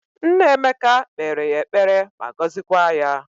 Nna Emeka kpere ya ekpere ma gozikwa ya